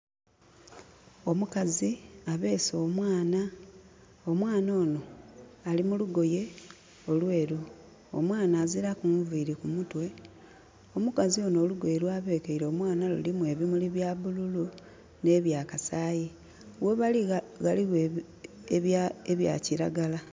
Omukazi abeese omwana. Omwana onho ali mu lugoye olweeru. Omwana aziraku nviiri ku mutwe. Omukazi onho olugoye lwa bekeire omwana lulimu ebimuli bya bululu nh'ebya kasaayi. Ghebali ghaligho ebya kiragala.